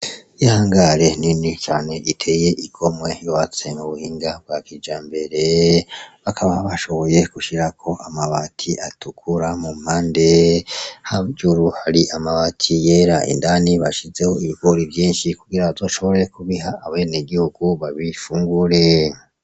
Ihangare nini cane iteye igomwe yubatse n’ubuhinga nwa kijambere , baja bashoboye gushirako amabati atukura mu mpande, hejuru hari amabati yera , indani bashizeyo ibigori vyinshi kugira bashobore kubiha abenegihugu babifungure.